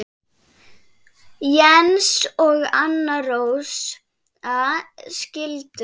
Jens og Anna Rósa skildu.